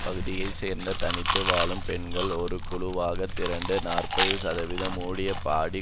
பகுதியை சேர்ந்த தனித்து வாழும் பெண்கள் ஒரு குழுவாக திரண்டு நாற்பதுசதவீதம் ஊதிய பாடி